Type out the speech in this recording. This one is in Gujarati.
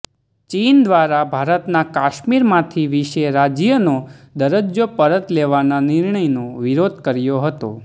ચીન દ્વારા ભારતના કાશ્મીરમાંથી વિશે રાજ્યનો દરજ્જો પરત લેવાના નિર્ણયનો વિરોધ કર્યો હતો